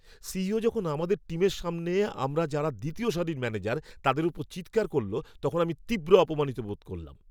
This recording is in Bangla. সিইও যখন আমাদের টিমের সামনে আমরা যারা দ্বিতীয় সারির ম্যানেজার তাদের ওপর চিৎকার করল, তখন আমি তীব্র অপমানিত হয়েছিলাম!